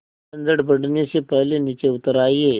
झंझट बढ़ने से पहले नीचे उतर आइए